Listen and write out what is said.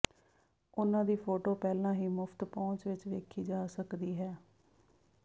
ਉਨ੍ਹਾਂ ਦੀ ਫੋਟੋ ਪਹਿਲਾਂ ਹੀ ਮੁਫ਼ਤ ਪਹੁੰਚ ਵਿੱਚ ਵੇਖੀ ਜਾ ਸਕਦੀ ਹੈ